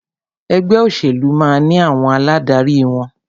Ẹgbẹ́ òṣèlú máà ní àwọn aládarí wọn.